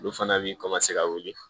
Olu fana bi ka wuli